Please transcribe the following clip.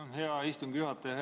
Tänan, hea istungi juhataja!